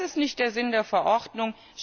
Das ist nicht der Sinn der Verordnung.